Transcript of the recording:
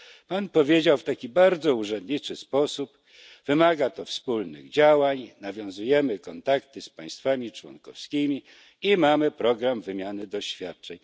Pan powiedział w taki bardzo urzędniczy sposób wymaga to wspólnych działań, nawiązujemy kontakty z państwami członkowskimi i mamy program wymiany doświadczeń.